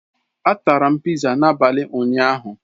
A tara m pizza n'abalị ụnyaahụ.